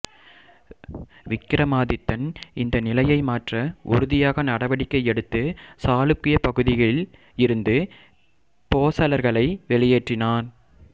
விக்ரமாதித்தன் இந்த நிலையை மாற்ற உறுதியாக நடவடிக்கை எடுத்து சாளுக்கிய பகுதிகளில் இருந்து போசளர்களை வெளியேற்றினான்